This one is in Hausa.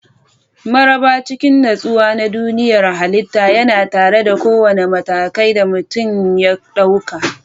Maraba cikin nutsuwa na duniyar halitta yana tare da kowane mataki da mutum ya ɗauka.